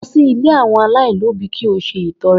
Lọ sí ilé àwọn aláìlóbìí ki o sì ṣe ìtọre